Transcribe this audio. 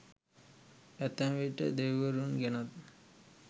ඇතැම් විට දෙවිවරුන් ගැනත්